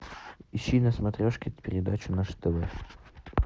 ищи на смотрешке передачу наше тв